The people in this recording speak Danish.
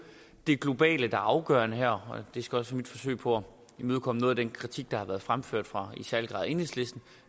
det globale der er afgørende her og det skal også være mit forsøg på at imødekomme noget af den kritik der har været fremført fra i særlig grad enhedslisten